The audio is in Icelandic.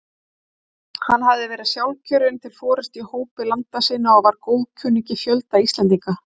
Hann hafði verið sjálfkjörinn til forystu í hópi landa sinna og var góðkunningi fjölda Íslendinga.